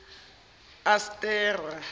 astera